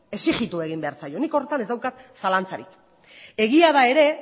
exigitu egin behar zaio nik horretan ez daukat zalantzarik egia da ere